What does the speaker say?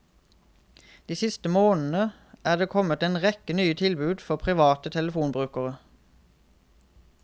De siste månedene er det kommet en rekke nye tilbud for private telefonbrukere.